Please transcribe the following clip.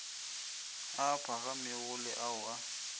a phagamego le ao a